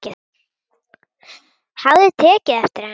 Hafði tekið eftir henni.